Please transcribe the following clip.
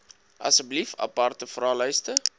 asseblief aparte vraelyste